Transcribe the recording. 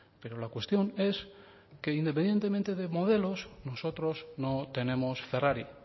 pero la cuestión es que independientemente de modelos nosotros no tenemos ferrari